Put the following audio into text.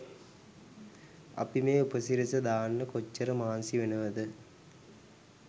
අපි මේ උපසිරැසි දාන්න කොච්චර මහන්සි වෙනවද.